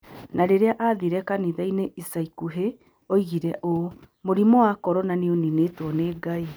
Na rĩrĩa aathire kanitha-inĩ ica ikuhĩ, oigire ũũ: "Mũrimũ wa corona nĩ ũninĩtwo nĩ Ngai".